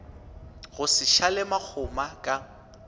go se šale makgoma ka